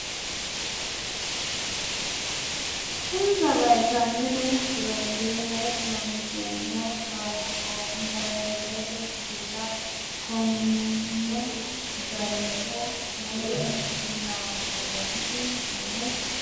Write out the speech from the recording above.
Insano vaytaamine pirootiine Looseemmo kaarbohaydireete shiilla coomunna zayte woluno kuri lawannoreeti Insano vaytaamine pirootiine Insano vaytaamine pirootiine Looseemmo kaarbohaydireete shiilla.